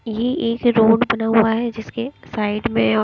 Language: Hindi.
यह एक रोड बना हुआ है जिसके साइड में--